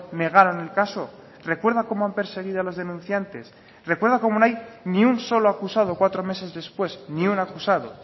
negaron el caso recuerda cómo han perseguido a las denunciantes recuerda cómo no hay ni un solo acusado cuatro meses después ni un acusado